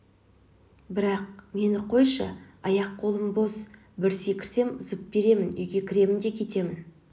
бірақ мені қойшы аяқ-қолым бос бір секірсем зып беріп үйге кіремін де кетемін